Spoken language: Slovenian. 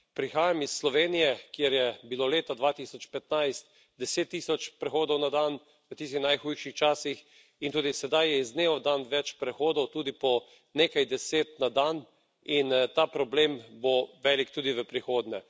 Prihajam iz Slovenije, kjer je bilo leta 2015 deset tisoč prehodov na dan, v tistih najhujših časih in tudi sedaj je iz dneva v dan več prehodov, tudi po nekaj deset na dan in ta problem bo velik tudi v prihodnje.